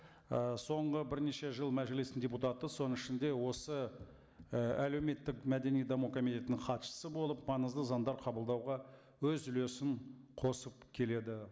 і соңғы бірнеше жыл мәжілістің депутаты соның ішінде осы і әлеуметтік мәдени даму комитетінің хатшысы болып маңызды заңдар қабылдауға өз үлесін қосып келеді